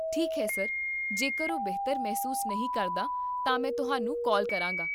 ਠੀਕ ਹੈ ਸਰ, ਜੇਕਰ ਉਹ ਬਿਹਤਰ ਮਹਿਸੂਸ ਨਹੀਂ ਕਰਦਾ, ਤਾਂ ਮੈਂ ਤੁਹਾਨੂੰ ਕਾਲ ਕਰਾਂਗਾ